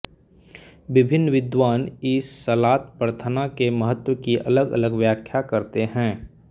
विभिन्न विद्वान इस सलात प्रार्थना के महत्व की अलगअलग व्याख्या करते हैं